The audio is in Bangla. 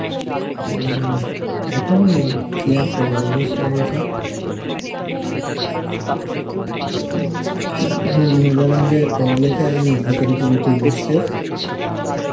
উম এখন কি আর করব অভ্যস্ত হয়ে গেসি, এখন মনে হই যেন যে পড়ালেখা বুকের ওপর উঠে বসচে